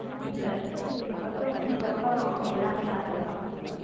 Lockdown lockdown வந்தப்ப எல்லாமே lock ஆகிடும்.